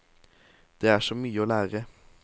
Det er så mye å lære.